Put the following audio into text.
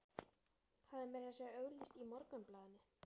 Hafði meira að segja auglýst í Morgunblaðinu.